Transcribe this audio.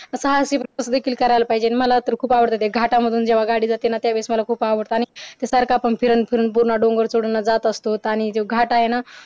साहसी प्रवेश देखील करायला पाहिजे आणि मला तर खूप आवडत ते घाटामधून जेव्हा गाडी जाते ना त्यावेडेस मला खूप आवडते आणि सारखा आपण फिरून फिरून पुन्हा डोंगर चडून जात असतो आणि आणि घाट आहेना